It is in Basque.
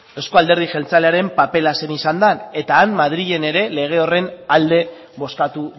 euzko alderdi jeltzalearen papera zein izan da eta han madrilen ere lege horren alde bozkatu